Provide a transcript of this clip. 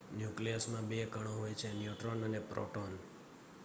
ન્યુક્લિયસમાં 2 કણો હોય છે ન્યુટ્રોન અને પ્રોટોન